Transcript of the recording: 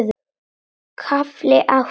KAFLI ÁTTA